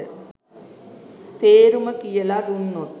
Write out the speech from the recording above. තේරුම කියල දුන්නොත්